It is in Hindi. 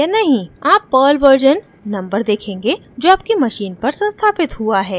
आप पर्ल वर्जन नंबर देखेंगे जो आपकी मशीन पर संस्थापित हुआ है